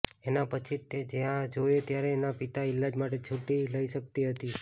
એના પછી જ તે જયારે જોએ ત્યારે તેના પિતાના ઈલાજ માટે છુટ્ટી લઇ શક્તિ હતી